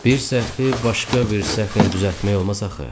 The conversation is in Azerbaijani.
Bir səhvi başqa bir səhvlə düzəltmək olmaz axı.